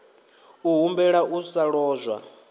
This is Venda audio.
u humbela u sa lozwa